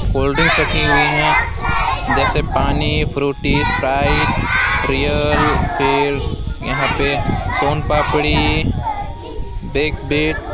Cold drinks रखी हुई हैं जैसे पानी फ्रूटी स्प्राइट रीयल फिर यहां पे सोनपापड़ी बिक बिट।